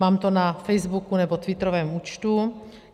Mám to na Facebooku nebo twitterovém účtu.